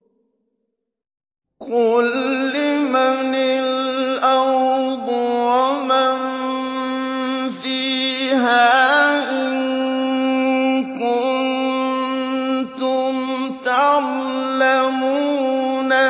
قُل لِّمَنِ الْأَرْضُ وَمَن فِيهَا إِن كُنتُمْ تَعْلَمُونَ